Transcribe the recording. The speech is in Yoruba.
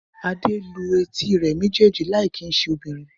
Adé lu etí rẹ̀ méjèèjì láì kì í ṣe obìnrin